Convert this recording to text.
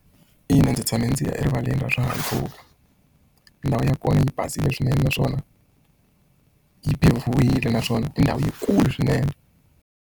Ina ndzi tshame ndzi ya erivaleni ra swihahampfhuka ndhawu ya kona yi basile swinene naswona yi pave-wile naswona i ndhawu yi kulu swinene.